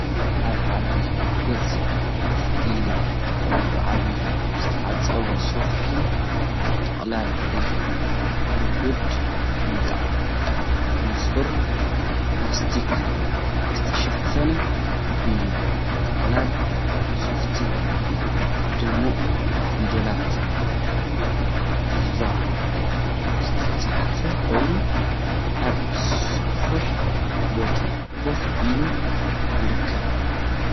ኣብ ዓቢ ገጽ ኮፍ ኢሉ ዘሎ ዓቢ ዝተዓጽፈ ሶፈት ጥቕላል እዩ። ብረጒድ ንጣብ ንጹር ፕላስቲክ ዝተሸፈነ እዩ። እዚ ጥቕላል ሶፈት ብድሙቕ ፊደላት 'ቪቫ' ዝተጻሕፈ ኮይኑ፣ ኣብ ሰፊሕ ቦታ ኮፍ ኢሉ ይርከብ።